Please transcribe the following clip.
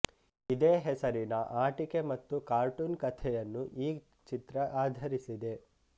ಇದೇ ಹೆಸರಿನ ಆಟಿಕೆ ಮತ್ತು ಕಾರ್ಟೂನ್ ಕಥೆಯನ್ನು ಈ ಚಿತ್ರ ಆಧರಿಸಿದೆ